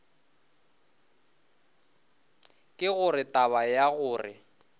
ke gore taba ya gore